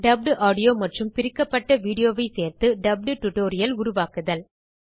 dubbed audio மற்றும் பிரிக்கப்பட்ட video ஐ சேர்த்து டப்ட் டியூட்டோரியல் உருவாக்குதல்